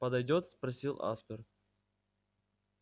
подойдёт спросил аспер